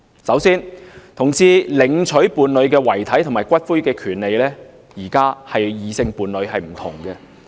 首先，現時同志領取伴侶遺體或骨灰的權利與異性伴侶不同。